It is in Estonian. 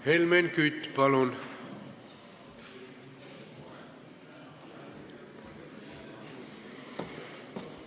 Helmen Kütt, palun!